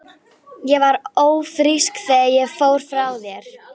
Ég var ófrísk þegar ég fór frá þér.